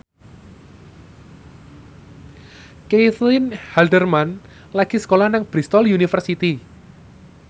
Caitlin Halderman lagi sekolah nang Bristol university